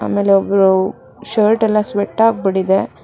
ಆಮೇಲೆ ಒಬ್ರು ಶರ್ಟ್ ಎಲ್ಲ ಸ್ವೆಟ್ ಆಗ್ಬಿಟ್ಟಿದೆ.